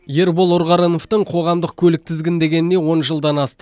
ербол ұрғарыновтың қоғамдық көлік тізгіндегеніне он жылдан асты